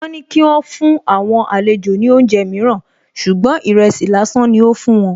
Wọn ní kí ó fún àwọn àlejò ní oúnjẹ mìíràn ṣùgbọ́n ìrẹsì lásán ni ó fún wọn